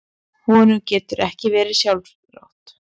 Honum getur ekki verið sjálfrátt.